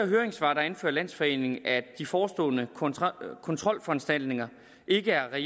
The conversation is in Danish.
høringssvar anfører landsforeningen at de forestående kontrolforanstaltninger ikke er